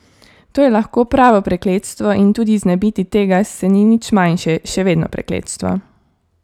To je lahko pravo prekletstvo in tudi znebiti tega se ni nič manjše, še vedno prekletstvo.